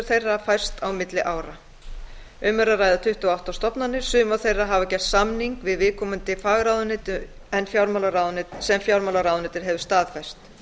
þeirra færst á milli ára um er að ræða tuttugu og átta stofnanir sumar þeirra hafa gert samning við viðkomandi fagráðuneyti sem fjármálaráðuneytið hefur staðfest